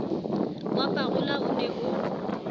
wa parole o ne o